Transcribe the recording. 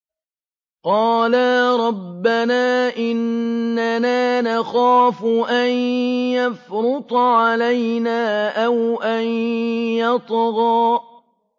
قَالَا رَبَّنَا إِنَّنَا نَخَافُ أَن يَفْرُطَ عَلَيْنَا أَوْ أَن يَطْغَىٰ